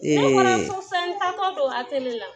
Ee ne bɔra so sisan n taa tɔ don atelier la